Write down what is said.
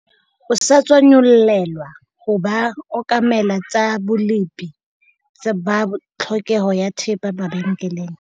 O sa tswa nyollelwa ho ba okamela tsa bolepi ba tlhokeho ya thepa mabenkeleng.